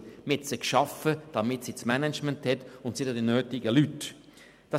Man hat sie geschaffen, damit sie das Management haben, und sie haben auch die nötigen Leute erhalten.